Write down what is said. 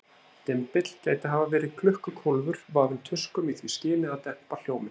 Dymbill gæti hafa verið klukkukólfur, vafinn tuskum í því skyni að dempa hljóminn.